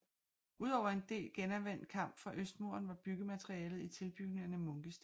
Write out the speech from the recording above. Ud over en del genanvendt kamp fra østmuren var byggematerialet i tilbygningerne munkesten